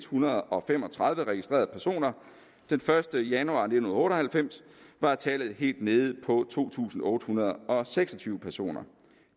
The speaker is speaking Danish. hundrede og fem og tredive registrerede personer den første januar nitten otte og halvfems var tallet helt nede på to tusind otte hundrede og seks og tyve personer